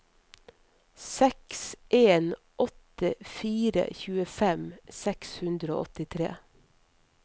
seks en åtte fire tjuefem seks hundre og åttitre